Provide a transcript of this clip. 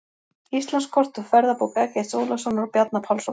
Íslandskort úr ferðabók Eggerts Ólafssonar og Bjarna Pálssonar.